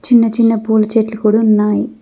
చిన్న చిన్న పోల చెట్లు కూడా ఉన్నాయి.